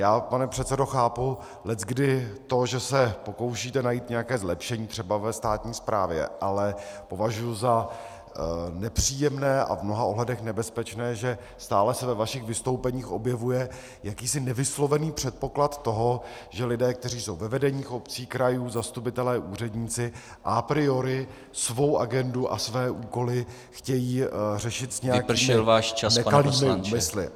Já, pane předsedo, chápu leckdy to, že se pokoušíte najít nějaké zlepšení třeba ve státní správě, ale považuji za nepříjemné a v mnoha ohledech nebezpečné, že stále se ve vašich vystoupeních objevuje jakýsi nevyslovený předpoklad toho, že lidé, kteří jsou ve vedeních obcí, krajů, zastupitelé, úředníci a priori svou agendu a své úkoly chtějí řešit s nějakými nekalými úmysly.